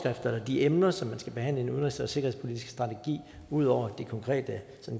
de emner som man skal behandle udenrigs og sikkerhedspolitiske strategi ud over de konkrete